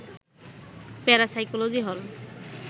parapsychology হল